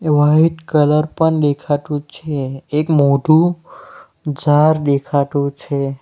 White colour પણ દેખાતું છે એક મોટું ઝાર દેખાતું છે.